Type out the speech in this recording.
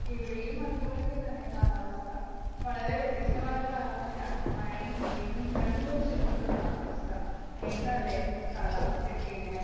ഇവിടെയും അതുപോലെയൊക്കെത്തന്നെ കാലാവസ്ഥാ വളരെ വ്യത്യസ്താമായൊരു കാലാവസ്ഥാ മഴയും വെയിലും രണ്ടുംകൂടെ ചേർന്നൊരു കാലാവസ്ഥാ എന്താലെ ഈ കാലാവസ്ഥായൊക്കെ ഇങ്ങനെ